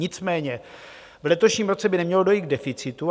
Nicméně v letošním roce by nemělo dojít k deficitu.